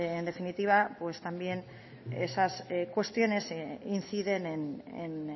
en definitiva pues también esas cuestiones inciden en